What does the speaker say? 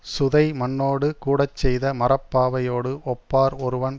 சுதைமண்ணோடு கூடச்செய்த மரப்பாவையோடு ஒப்பார் ஒருவன்